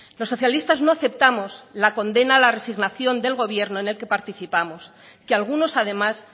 los socialistas no aceptamos la condena la resignación del gobierno en el que participamos que algunos además